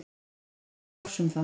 Hann veit ekki bofs um það.